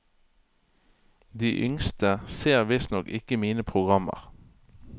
De yngste ser visstnok ikke mine programmer.